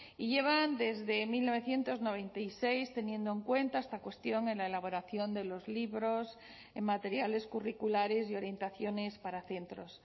y llevan desde mil novecientos noventa y seis teniendo en cuenta esta cuestión en la elaboración de los libros en materiales curriculares y orientaciones para centros